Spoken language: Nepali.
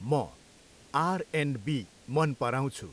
म आर एन्ड बी मन पराउँछु।